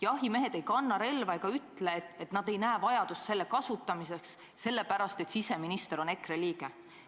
Jahimehed ei kanna relva ega ütle, et nad ei näe vajadust seda kasutada sellepärast, et siseminister on EKRE liige.